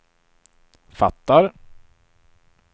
fattar